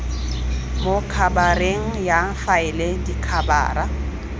mo khabareng ya faele dikhabara